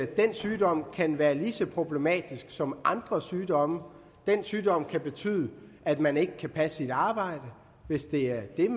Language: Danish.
den sygdom kan være lige så problematisk som andre sygdomme den sygdom kan betyde at man ikke kan passe sit arbejde hvis det er